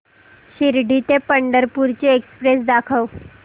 शिर्डी ते पंढरपूर ची एक्स्प्रेस दाखव